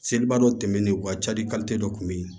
Seliba dɔ tɛmɛnen o ka cali dɔ tun bɛ yen